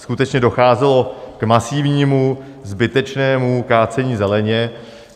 Skutečně docházelo k masivnímu, zbytečnému kácení zeleně.